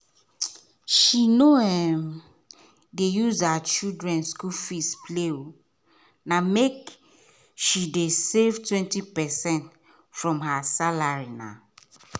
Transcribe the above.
she nor um dey use her children school fees play na make she dey save 20 percent from her salary um.